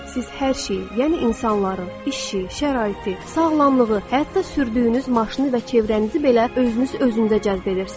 Siz hər şeyi, yəni insanları, işi, şəraiti, sağlamlığı, hətta sürdüyünüz maşını və ətrafınızı belə özünüz özünüzə cəzb edirsiz.